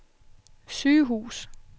sygehus